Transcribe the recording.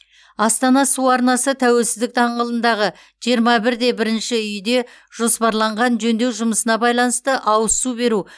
астана су арнасы тәуелсіздік даңғылындағы жиырма бір де бірінші үйде жоспарланған жөндеу жұмысына байланысты ауыз су беру